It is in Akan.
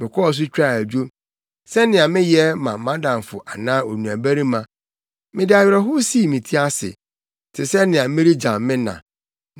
mekɔɔ so twaa adwo, sɛnea meyɛ ma mʼadamfo anaa onuabarima. Mede awerɛhow sii me ti ase te sɛ nea meregyam me na.